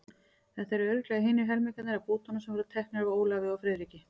Þetta eru örugglega hinir helmingarnir af bútunum sem voru teknir af Ólafi og Friðriki.